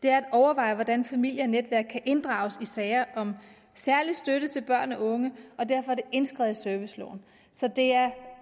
er at overveje hvordan familie og netværk kan inddrages i sager om særlig støtte til børn og unge og derfor er det indskrevet i serviceloven så det er